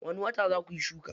Wani wata za kuyi shuka?